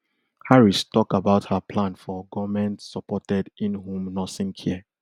harris tok about her plan for goment supported inhome nursing care